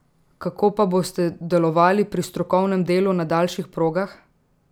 Kako pa boste delovali pri strokovnem delu na daljših progah?